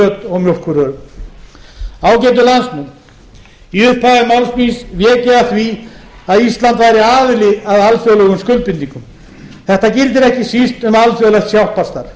og mjólkurvörum ágætu landsmenn í upphafi máls míns vék ég að því að ísland væri aðili að alþjóðlegum skuldbindingum þetta gildir ekki síst um alþjóðlegt hjálparstarf